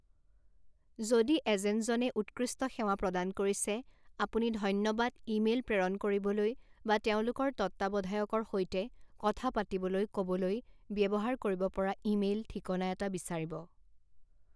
যদি এজেণ্টজনে উৎকৃষ্ট সেৱা প্ৰদান কৰিছে, আপুনি ধন্যবাদ ইমেইল প্ৰেৰণ কৰিবলৈ বা তেওঁলোকৰ তত্ত্বাৱধায়কৰ সৈতে কথা পাতিবলৈ ক'বলৈ ব্যৱহাৰ কৰিব পৰা ইমেইল ঠিকনা এটা বিচাৰিব।